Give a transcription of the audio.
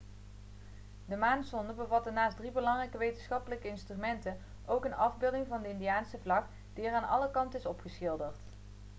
de maansonde bevatte naast drie belangrijke wetenschappelijke instrumenten ook een afbeelding van de indiase vlag die er aan alle kanten is opgeschilderd